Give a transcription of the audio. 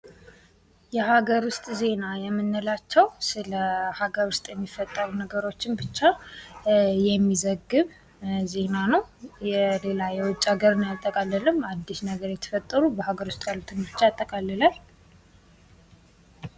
የሀገር ውስጥ ዜና የምንላቸው ስለ ሀገር ውስጥ የሚፈጠሩ ነገሮችን ብቻ የሚዘግብ ዜና ነው። ሌላ የውጭ ሃገርን አያጠቃልልም ።አዲስ ነገር የተፈጠሩ በሀገር ውስጥ ያሉትን ብቻ ያጠቃልላል።